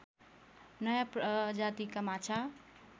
नयाँ प्रजातिका माछा